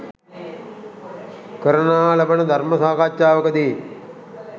කරනා ලබන ධර්ම සාකච්ඡාවකදී